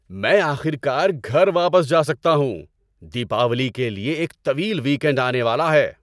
میں آخر کار گھر واپس جا سکتا ہوں۔ دیپاولی کے لیے ایک طویل ویک اینڈ آنے والا ہے۔